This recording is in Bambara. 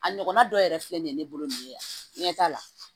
A ɲɔgɔnna dɔ yɛrɛ filɛ nin ye ne bolo nin ye ɲɛta la